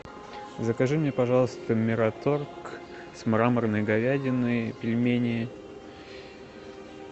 закажи мне пожалуйста мираторг с мраморной говядиной пельмени